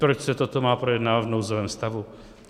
Proč se toto má projednávat v nouzovém stavu?